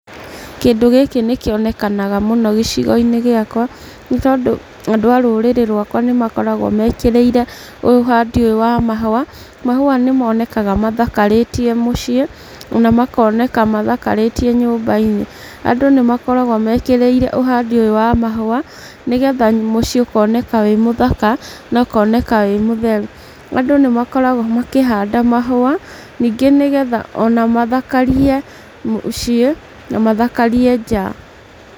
Kĩndũ gĩkĩ nĩ kĩonekanaga mũno gĩcigo-inĩ gĩakwa, nĩ tondũ andũ a rũrĩrĩ rwakwa nĩ makoragwo mekĩrĩire ũhandi ũyũ wa mahũa, mahũa nĩ monekaga mathakarĩtie mũciĩ, ona makoneka mathakarĩtie nyũmba-inĩ. Andũ nĩ makoragwo mekĩrĩire ũhandĩ ũyũ wa mahũa, nĩgetha mũciĩ ũkoneka wĩ mũthaka, na ũkoneka wĩ mũtheru. Andũ nĩ makoragwo makĩhanda mahũa, ningĩ nĩgetha ona mathakarie mũciĩ, na mathakarie nja.